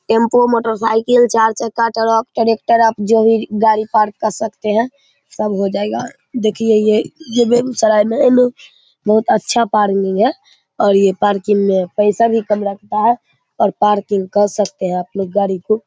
टेम्पों motorcycle चार चक्का truck tractor आप जो भी गाड़ी पार्क कर सकते है। सब हो जायेगा देखिए ये ये बेगुसराय में बहुत अच्छा पार्किंग है। और ऐ पार्किंग में पैसे कम लगता है। और पार्किंग कर सकते है आप लोग गाड़ी को --